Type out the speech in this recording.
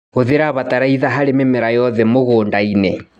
Hũthĩra bataraitha harĩ mĩmera yothe mũgũndainĩ.